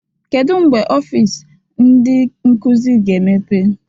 Kedu mgbe ọfịs ndị nkuzi ga-emepe?